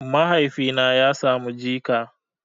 Mahaifina ya samu jika